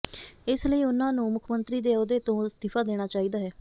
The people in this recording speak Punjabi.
ਇਸ ਲਈ ਉਨ੍ਹਾਂ ਨੂੰ ਮੁੱਖ ਮੰਤਰੀ ਦੇ ਅਹੁੱਦੇ ਤੋਂ ਅਸਤੀਫ਼ਾ ਦੇਣਾ ਚਾਹੀਦਾ ਹੈ